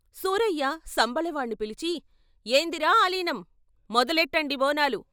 సూరయ్య సంబలవాణ్ణి పిలిచి ఏందిరా ఆలీనం మొదలెట్టండి బోనాలు.